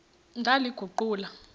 ndaliguqula